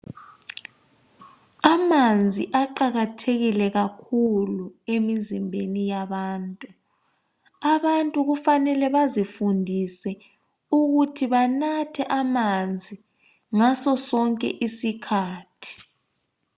Amanzi aqakathekile kakhulu emizimbeni yabantu. Abantu kufanele ukuthi bazifundise ukuthi banathe amanzi ngasosonke isikhathi.